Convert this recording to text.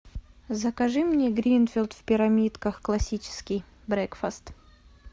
закажи мне гринфилд в пирамидках классический брекфаст